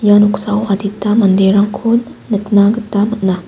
ia noksao adita manderangko nikna gita man·a.